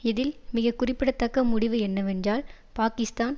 இதில் மிக குறிப்பிடத்தக்க முடிவு என்னவென்றால் பாக்கிஸ்தான்